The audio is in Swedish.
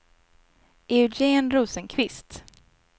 Eugén Rosenqvist